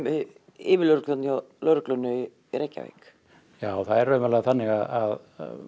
yfirlögregluþjónn hjá lögreglunni í Reykjavík það er raunverulega þannig að